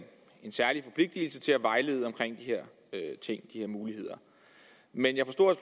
særlig forpligtelse til at vejlede om de her muligheder men jeg forstod